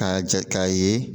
K'a ja k'a ye